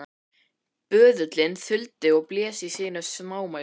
Böðullinn þuldi og blés í sínu smámæli